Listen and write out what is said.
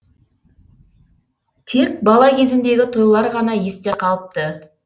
тек бала кезімдегі тойлар ғана есте қалыпты